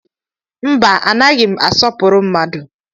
Mba, anaghị m asọpụrụ mmadu.